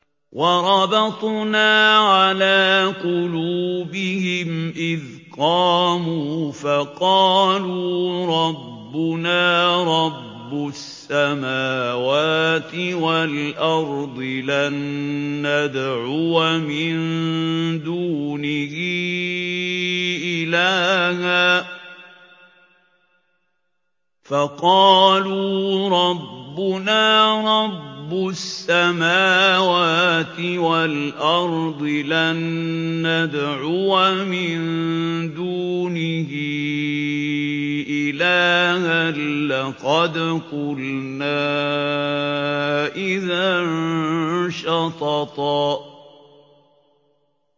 وَرَبَطْنَا عَلَىٰ قُلُوبِهِمْ إِذْ قَامُوا فَقَالُوا رَبُّنَا رَبُّ السَّمَاوَاتِ وَالْأَرْضِ لَن نَّدْعُوَ مِن دُونِهِ إِلَٰهًا ۖ لَّقَدْ قُلْنَا إِذًا شَطَطًا